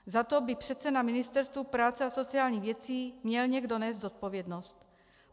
Za to by přece na Ministerstvu práce a sociálních věcí měl někdo nést zodpovědnost.